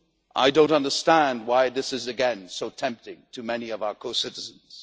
man. I do not understand why this is again so tempting to many of our co citizens.